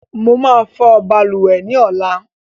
I will wash bathroom tomorrow